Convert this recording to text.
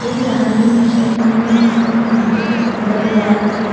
एक राहगीर ने शर्ट पेहनी हुई है जिसने अपने माथे में तिलक लगाया हुआ है।